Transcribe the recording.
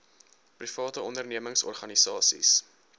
private ondernemings organisasies